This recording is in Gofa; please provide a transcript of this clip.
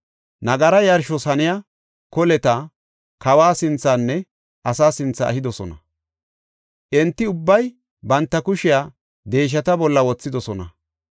Nagara yarshos haniya koleta kawa sinthenne asaa sinthe ehidosona; enti ubbay banta kushiya deeshata bolla wothidosona.